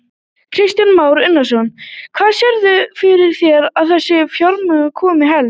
Kristján Már Unnarsson: Hvaðan sérðu fyrir þér að þessi fjármögnun komi helst?